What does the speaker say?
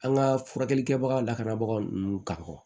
An ka furakɛli kɛbaga lakanabagaw n'u kan